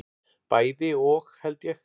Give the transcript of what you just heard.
Bæði og held ég.